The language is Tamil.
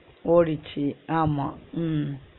ஓடுச்சு ஆமா உம்